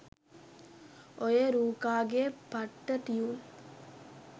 ඔය රූකා ගේ පට්ට ටියුන්